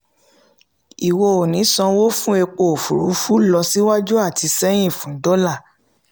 ìwọ ò ní sanwó fún epo òfurufú lọ síwájú àti sẹ́yìn fún dọ́là.